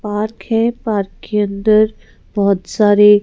park है park के अंदर बहुत सारे --